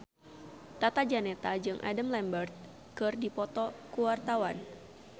Tata Janeta jeung Adam Lambert keur dipoto ku wartawan